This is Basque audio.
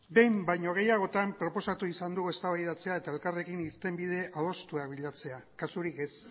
behin baino gehiagotan proposatu izan dugu eztabaidatzea eta elkarrekin irtenbide adostuak bilatzea kasurik ez